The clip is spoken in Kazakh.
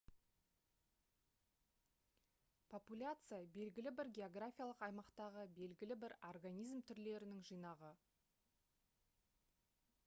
популяция белгілі бір географиялық аймақтағы белгілі бір организм түрлерінің жинағы